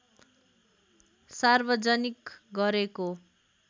सार्वजनिक गरेको